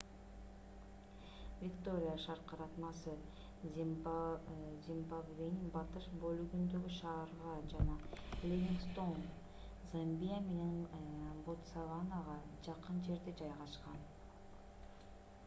виктория шаркыратмасы зимбабвенин батыш бөлүгүндөгү шаарга жана ливингстоун замбия менен ботсаванага жакын жерде жайгашкан